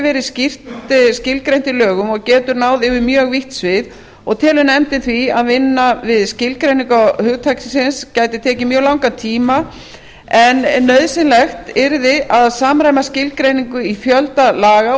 verið skýrt skilgreint í lögum og getur náð yfir mjög vítt svið og telur nefndin því að vinna við skilgreiningu hugtaksins gæti tekið mjög langan tíma en nauðsynlegt yrði að samræma skilgreininguna í fjölda laga